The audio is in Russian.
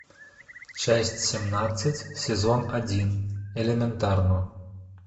часть семнадцать сезон один элементарно